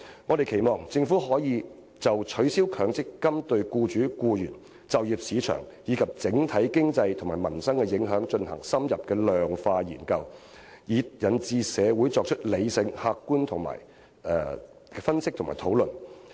我們期望政府可就取消強積金對沖機制對僱主、僱員、就業市場，以至整體經濟和民生的影響進行深入的量化研究，以引導社會作出理性而客觀的分析及討論。